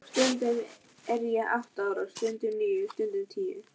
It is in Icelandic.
Stundum er ég átta ára, stundum níu, stundum tíu.